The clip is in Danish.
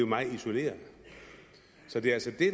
meget isoleret så det er altså det